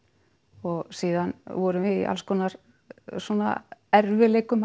og síðan vorum við í alls konar erfiðleikum að